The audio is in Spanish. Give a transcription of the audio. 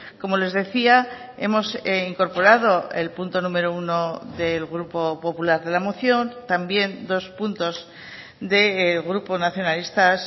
como les decía hemos incorporado el punto número uno del grupo popular de la moción también dos puntos del grupo nacionalistas